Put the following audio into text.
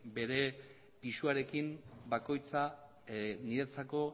bere pisuarekin bakoitzak niretzako